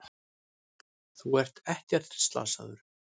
Þú ert ekkert slasaður.